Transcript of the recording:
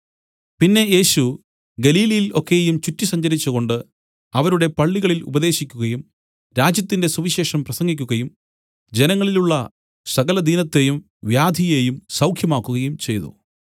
പിന്നെ യേശു ഗലീലയിൽ ഒക്കെയും ചുറ്റി സഞ്ചരിച്ചുകൊണ്ട് അവരുടെ പള്ളികളിൽ ഉപദേശിക്കുകയും രാജ്യത്തിന്റെ സുവിശേഷം പ്രസംഗിക്കുകയും ജനങ്ങളിലുള്ള സകലദീനത്തെയും വ്യാധിയെയും സൌഖ്യമാക്കുകയും ചെയ്തു